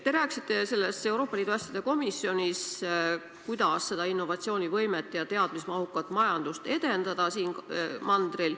Te rääkisite Euroopa Liidu asjade komisjonis, kuidas seda innovatsioonivõimet ja teadmismahukat majandust siin maailmajaos edendada.